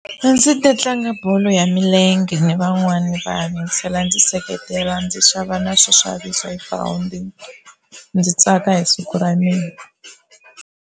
A ndzi ta tlanga bolo ya milenge ni van'wani vana ndzi tlhela ndzi seketela ndzi xava na swo xavisa ndzi tsaka hi siku ra mina.